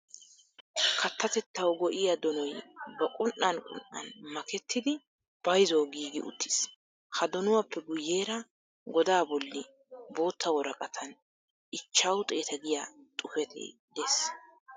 Kattatettawu go"iya donoy ba qun"an qun"an makettidi bayzuwawu giigi uttiis. Ha donuwappe guyyeera godaa bolli bootta woraqatan ichchawu xeeta giya xuufetee de'es.